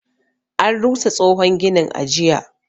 An rusa tsohon ginin, a jiya.